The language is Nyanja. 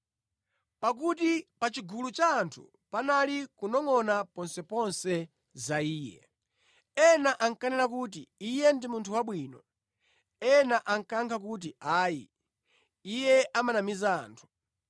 Pakuti pa chigulu cha anthu panali kunongʼona ponseponse za Iye. Ena ankanena kuti, “Iye ndi munthu wabwino.” Ena ankayankha kuti, “Ayi, Iye amanamiza anthu.”